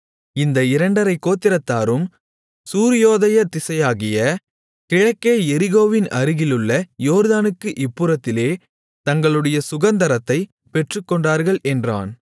இந்த இரண்டரைக் கோத்திரத்தாரும் சூரியோதய திசையாகிய கிழக்கே எரிகோவின் அருகிலுள்ள யோர்தானுக்கு இப்புறத்திலே தங்களுடைய சுகந்தரத்தைப் பெற்றுக்கொண்டார்கள் என்றான்